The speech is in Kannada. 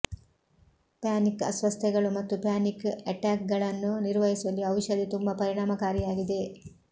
ಪ್ಯಾನಿಕ್ ಅಸ್ವಸ್ಥತೆಗಳು ಮತ್ತು ಪ್ಯಾನಿಕ್ ಅಟ್ಯಾಕ್ಗಳನ್ನು ನಿರ್ವಹಿಸುವಲ್ಲಿ ಔಷಧಿ ತುಂಬಾ ಪರಿಣಾಮಕಾರಿಯಾಗಿದೆ